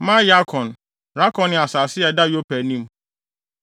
Me-Yarkon, Rakon ne asase a ɛda Yopa anim.